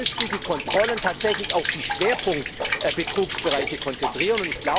Wir müssen die Kontrollen tatsächlich auf die Schwerpunktbetrugsbereiche konzentrieren.